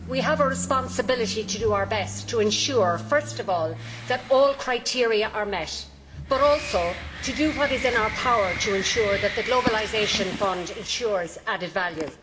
We have a responsibility to do our best to ensure, first of all, that all criteria are met, but also to do what is in our power to ensure that the Globalisation Fund ensures added value.